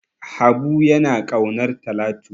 Habu yana ƙaunar Talatu.